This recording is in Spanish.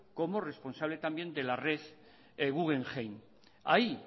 como responsable también de la red guggenheim hay